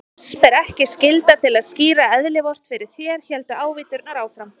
Oss ber ekki skylda til að skýra eðli Vort fyrir þér, héldu ávíturnar áfram.